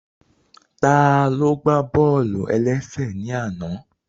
Taló gbá bọ́ọ̀lù-ẹlẹ́sẹ̀ ní àná?